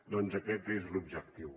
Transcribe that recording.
doncs aquest és l’objectiu